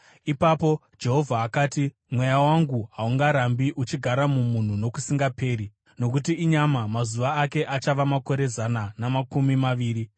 Ipapo Jehovha akati, “Mweya wangu haungarambi uchigara mumunhu nokusingaperi, nokuti inyama; mazuva ake achava makore zana namakumi maviri.”